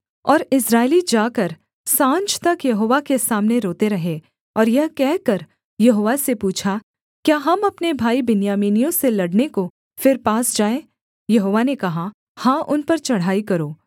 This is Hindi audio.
और इस्राएली जाकर साँझ तक यहोवा के सामने रोते रहे और यह कहकर यहोवा से पूछा क्या हम अपने भाई बिन्यामीनियों से लड़ने को फिर पास जाएँ यहोवा ने कहा हाँ उन पर चढ़ाई करो